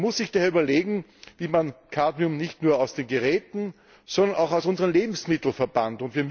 Man muss sich daher überlegen, wie man Cadmium nicht nur aus den Geräten, sondern auch aus unseren Lebensmitteln verbannt.